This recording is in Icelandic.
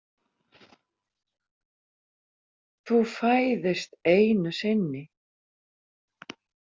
Þú fæðist einu sinni.